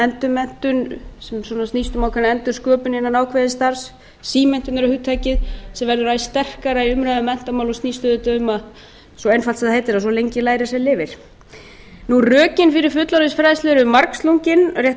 endurmenntun sem svona snýst um ákveðna endursköpun innan ákveðins starfs símenntunarhugtakið sem verður æ sterkara í umræðu um menntamál og snýst auðvitað um svo einfalt sem það heitir að svo lengi lærir sem lifir rökin fyrir fullorðinsfræðslu eru margslungin rétt eins